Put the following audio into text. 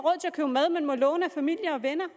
købe mad men må låne af familie og venner